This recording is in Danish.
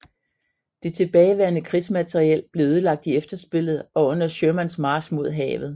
Det tilbageværende krigsmateriel blev ødelagt i efterspillet og under Shermans march mod havet